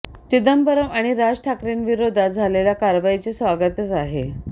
चिदंबरम आणि राज ठाकरेंविरोधात झालेल्या कारवाईचे स्वागतच आहे